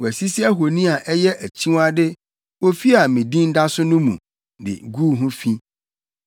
Wɔasisi ahoni a ɛyɛ akyiwade wɔ ofi a me Din da so no mu, de guu ho fi.